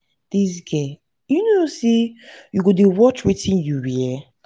dis girl you no know say you go dey watch wetin you wear